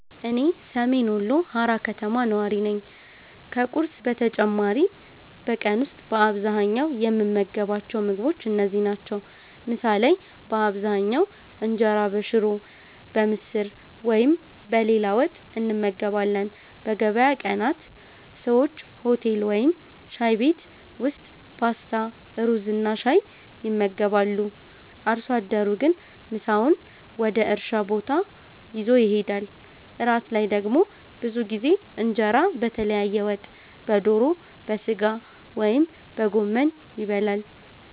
እኔ ሰሜን ወሎ ሃራ ከተማ ነዋሪ ነኝ። ከቁርስ በተጨማሪ በቀን ውስጥ በአብዛኛው የምንመገባቸው ምግቦች እነዚህ ናቸው፦ ምሳ ላይ በአብዛኛው እንጀራ በሽሮ፣ በምስር ወይም በሌላ ወጥ እንመገባለን። በገበያ ቀናት ሰዎች ሆቴል ወይም ሻይ ቤት ውስጥ ፓስታ፣ ሩዝና ሻይ ይመገባሉ። አርሶ አደሩ ግን ምሳውን ወደ እርሻ ቦታ ይዞ ይሄዳል። እራት ላይ ደግሞ ብዙ ጊዜ እንጀራ በተለያየ ወጥ (በዶሮ፣ በሥጋ ወይም በጎመን) ይበላል።